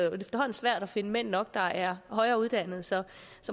svært at finde mænd nok der er højere uddannet så